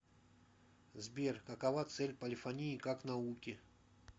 сбер какова цель полифонии как науки